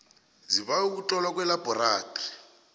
zibawe ukuhlolwa kwelabhorathri